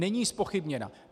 Není zpochybněna.